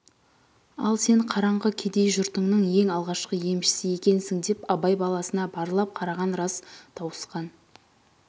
ал сен қараңғы кедей жұртыңның ең алғашқы емшісі екенсің деп абай баласына барлап қараған рас тауысқан